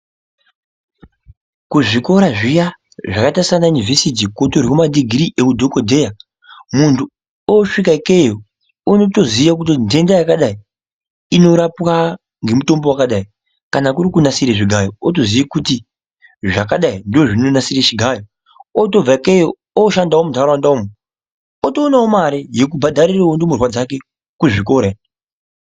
Kuzvikora zviya kwakaita sana Univhesiti kunotorwe madhigirii eudhokodheya muntu osvika ikeyo unotoziya kuti nhenda yakadai unorapwa ngemutombo wakadai. Kana kuri kunasire zvigayo otoziya kuti zvakadai ndozvinonasire chigayo otobva ikeyo oshanda muntaraunda umu otoonawo mare yekubhadharira ndumurwa dzake kuzvikora.